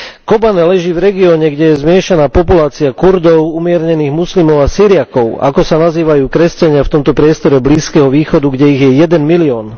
Kobane leží v regióne, kde je zmiešaná populácia Kurdov, umiernených moslimov a Syriakov, ako sa nazývajú kresťania v tomto priestore Blízkeho východu, kde ich je jeden milión.